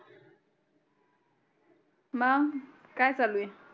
मग काय चालू आहे